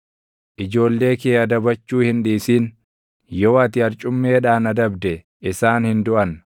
Ijoollee kee adabachuu hin dhiisin; yoo ati arcummeedhaan adabde isaan hin duʼan.